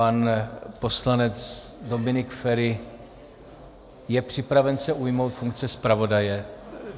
Pan poslanec Dominik Feri je připraven se ujmout funkce zpravodaje?